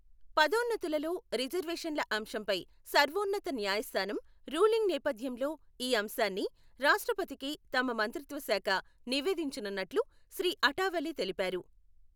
పదోన్నతులలో రిజర్వేషన్ల అంశంపై సర్వోన్నత న్యాయ స్థానం రూలింగ్ నేపథ్యంలో ఈ అంశాన్ని రాష్ట్రపతికి తమ మంత్రిత్వ శాఖ నివేదించనున్నట్లు శ్రీ అఠావలే తెలిపారు.